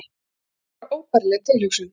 Það var bara óbærileg tilhugsun.